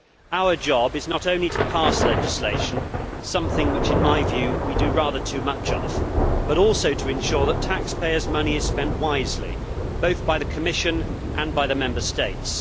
Our job is not only to pass legislation something which we do rather too much of but also to ensure that taxpayers' money is spent wisely, both by the Commission and by the Member States.